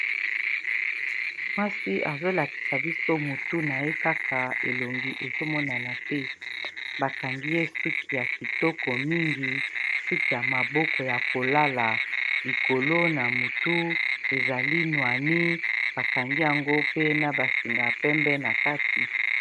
mwasi azolakisa biso mutu na ye kaka elongi ezomonana te bakangi ye suki ya kitoko mingi suki ya maboko ya kolala likolo na motu ezali noani bakangi yango pe na basinga pembe na kati